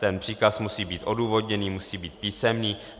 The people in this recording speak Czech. Ten příkaz musí být odůvodněný, musí být písemný.